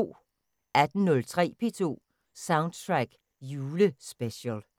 18:03: P2 Soundtrack Julespecial